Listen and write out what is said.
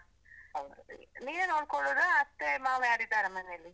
ನೀವೇ ನೋಡ್ಕೊಳ್ಳುದಾ, ಅತ್ತೆ ಮಾವ ಯಾರಿದ್ದಾರ ಮನೇಲಿ?